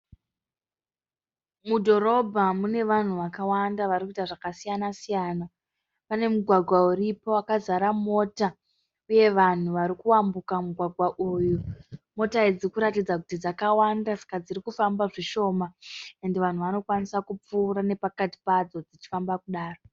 Mudhorobha mune vanhu vakavanda varikuita zvakasiyana siyana. Pane mugwagwa uripo wakazara mota uye vanhu varikuyambuka mugwagwa uyu. Mota idzi dzirikuratidza kuti dzakawanda ande dzirikufamba zvishoma ende vanhu vanokwanisa kupfuura nepakati padzo dzichifamba kudaro.